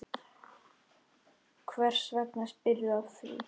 Hvers vegna spyrðu að því?